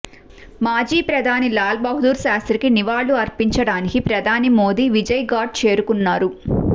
మాజీ ప్రధాని లాల్ బహదూర్ శాస్త్రికి నివాళులు అర్పించడానికి ప్రధాని మోడీ విజయ్ ఘాట్ చేరుకున్నారు